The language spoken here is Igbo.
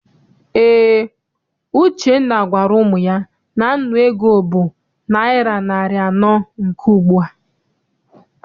Eé, Uchenna gwara ụmụ ya na nnu ego bụ naịra narị anọ nke ugbua.